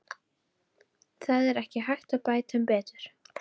Það er ekki hægt að bæta um betur.